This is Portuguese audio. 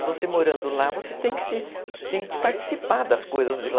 E você morando lá, você tem que participar das coisas de lá.